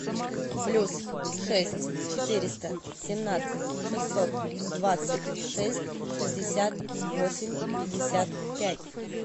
плюс шесть четыреста семнадцать шестьсот двадцать шесть шестьдесят восемь пятьдесят пять